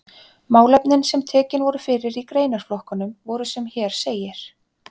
Málefnin sem tekin voru fyrir í greinaflokkunum voru sem hér segir